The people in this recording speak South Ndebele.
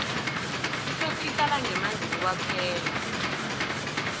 ifesi ihlala ngemanzini kwaphela